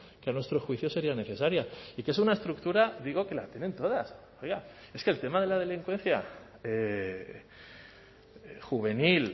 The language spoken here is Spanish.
que a nuestro juicio sería necesaria y que es una estructura digo que la tienen todas oiga es que el tema de la delincuencia juvenil